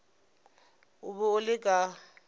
o be o le ka